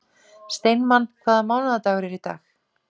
Steinmann, hvaða mánaðardagur er í dag?